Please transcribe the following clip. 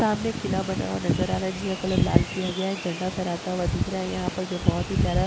सामने किला बना हुआ नजर आ रहा है जिसका कलर लाल किया गया है एक झंडा फेराता हुआ दिख रहा है यहा पे जो बहुत ही प्यारा --